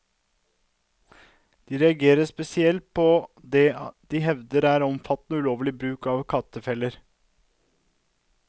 De reagerer spesielt på det de hevder er omfattende og ulovlig bruk av kattefeller.